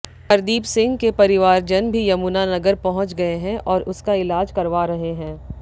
हरदीपसिंह के परिवारजन भी यमुनानगर पहुंच गये हैं और उसका इलाज करवा रहे हैं